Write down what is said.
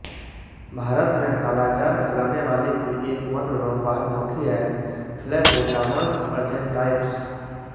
भारत में कालाजार फैलाने वाली की एक मात्र रोगवाहक मक्खी है फ्लैबोटामस अर्जेंटाइप्स